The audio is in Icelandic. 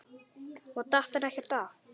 Og datt hann ekkert af?